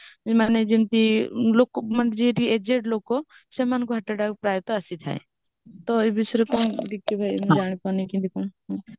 ଯେ ମାନେ ଯେମିତି aged ଲୋକ ସେମାନଙ୍କୁ heart attack ପ୍ରାୟ ତ ଆସିଥାଏ ତ ଏ ବିଷୟରେ କଣ ଟିକେ ଯାହା ବି ମାନେ କି